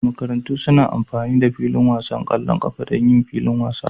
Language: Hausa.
makarantu suna amfani da filin wasan ƙwallon ƙafa don yin filin wasa